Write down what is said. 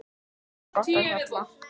Oft er glatt á hjalla.